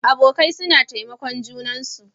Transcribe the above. Abokai suna taimakon junansu.